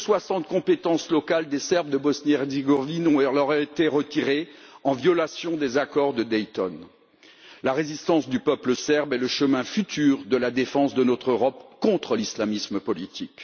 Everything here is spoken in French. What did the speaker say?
Plus de 60 compétences locales des Serbes de Bosnie Herzégovine leur auraient été retirées, en violation des accords de Dayton. La résistance du peuple serbe est le chemin futur de la défense de notre Europe contre l'islamisme politique